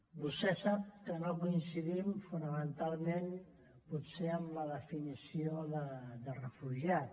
vostè sap que no coincidim fonamentalment potser en la definició de refugiat